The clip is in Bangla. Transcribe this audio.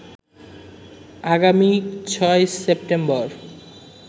আগামী ৬ সেপ্টেম্বর